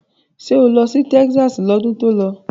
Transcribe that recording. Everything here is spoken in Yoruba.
Ṣé o lọ sí Texas lọ́dún tó lọ?